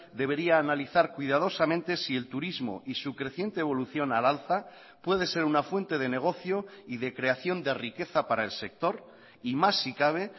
debería analizar cuidadosamente si el turismo y su creciente evolución al alza puede ser una fuente de negocio y de creación de riqueza para el sector y más si cabe